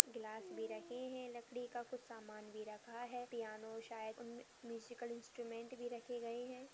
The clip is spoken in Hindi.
ग्लास भी रखे है लकड़ी का कुछ सामान भी रखा है पिआनो शायद उन म्यूजिकल इंस्ट्रूमेंट भी रखे गए है।